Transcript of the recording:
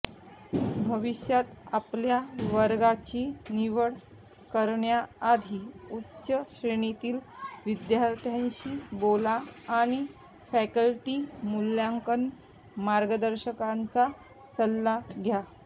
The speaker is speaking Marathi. भविष्यात आपल्या वर्गाची निवड करण्याआधी उच्च श्रेणीतील विद्यार्थ्यांशी बोला आणि फॅकल्टी मूल्यांकन मार्गदर्शकांचा सल्ला घ्या